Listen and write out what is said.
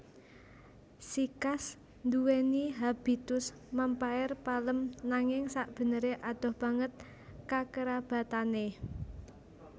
Sikas nduweni habitus mèmpaer palem nanging sakbeneré adoh banget kakerabatané